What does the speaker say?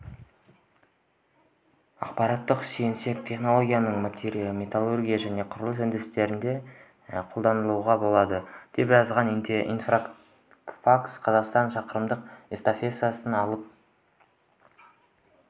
ақпаратқа сүйенсек технологияны металлургия және құрылыс өндірісінде де қолдануға болады деп жазады интерфакс-қазақстан шақырымдық эстафетаны алып